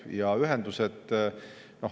Ja ühendused.